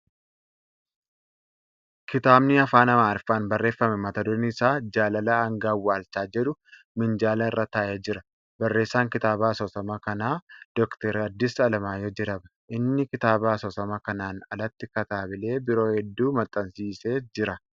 Kitaabni Afaan Amaariffaan barreeffame mata dureen isaa ' Jaalala hanga Awwaalchaa ' jedhu minjaala irra taa'ee jira. Barreessaan kitaaba asoosama kanaa Dr. Haddis Alamaayyoo jedhama. Inni kitaaba asoosamaa kanaan alatti kitaabilee biroo hedduu maxxansiisee jira.